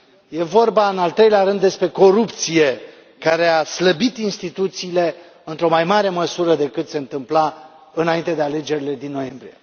E vorba în al treilea rând despre corupție care a slăbit instituțiile într o mai mare măsură decât se întâmpla înainte de alegerile din noiembrie.